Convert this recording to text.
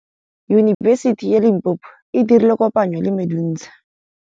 Yunibesiti ya Limpopo e dirile kopanyô le MEDUNSA.